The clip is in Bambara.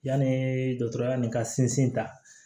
Yanni dɔgɔtɔrɔya nin ka sinsin ta